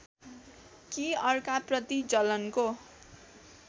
कि अर्काप्रति जलनको